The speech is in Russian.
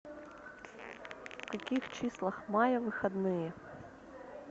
в каких числах мая выходные